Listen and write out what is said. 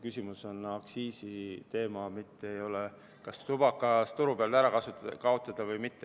Küsimus on aktsiisis, mitte kas tubakas turult ära kaotada või mitte.